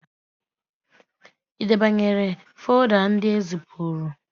Ị debanyere folda ndị ezipụrụ?